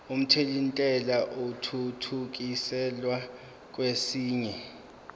omthelintela athuthukiselwa kwesinye